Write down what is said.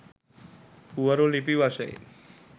පුවරු ලිපි වශයෙන්